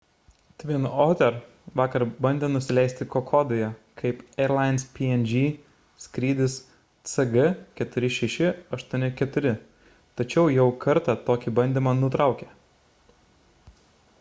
twin otter vakar bandė nusileisti kokodoje kaip airlines png skrydis cg4684 tačiau jau kartą tokį bandymą nutraukė